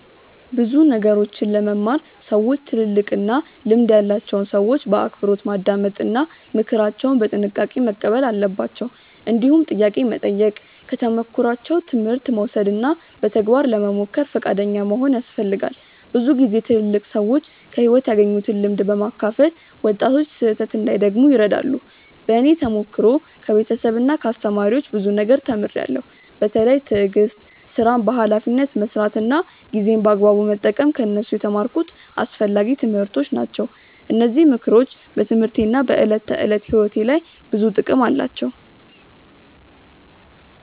ብዙ ነገሮችን ለመማር ሰዎች ትልልቅና ልምድ ያላቸውን ሰዎች በአክብሮት ማዳመጥ እና ምክራቸውን በጥንቃቄ መቀበል አለባቸው። እንዲሁም ጥያቄ መጠየቅ፣ ከተሞክሯቸው ትምህርት መውሰድ እና በተግባር ለመሞከር ፈቃደኛ መሆን ያስፈልጋል። ብዙ ጊዜ ትልልቅ ሰዎች ከሕይወት ያገኙትን ልምድ በማካፈል ወጣቶች ስህተት እንዳይደግሙ ይረዳሉ። በእኔ ተሞክሮ ከቤተሰብና ከአስተማሪዎች ብዙ ነገር ተምሬያለሁ። በተለይ ትዕግስት፣ ሥራን በኃላፊነት መስራት እና ጊዜን በአግባቡ መጠቀም ከእነሱ የተማርኩት አስፈላጊ ትምህርቶች ናቸው። እነዚህ ምክሮች በትምህርቴና በዕለት ተዕለት ሕይወቴ ላይ ብዙ ጥቅም አላቸው።